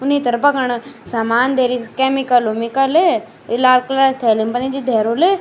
ऊनि तरफ़ा कण सामान धरीं केमिकल उमिकल ये लाल कलर क थैली पतनी क्य धैरुल।